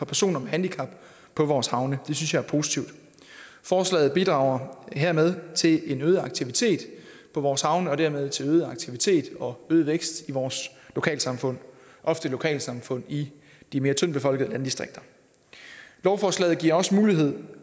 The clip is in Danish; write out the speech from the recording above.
personer med handicap på vores havne det synes jeg er positivt forslaget bidrager hermed til en øget aktivitet på vores havne og hermed til øget aktivitet og øget vækst i vores lokalsamfund ofte lokalsamfund i de mere tyndtbefolkede landdistrikter lovforslaget giver også mulighed